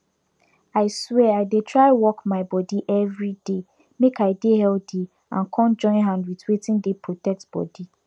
i swear i dey try work my body everyday make i dey healthy and come join hand with wetin dey protect bodi